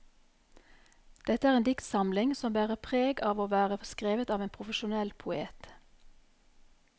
Dette er en dikstsamling som bærer preg av å være skrevet av en profesjonell poet.